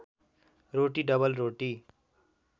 रोटी double रोटी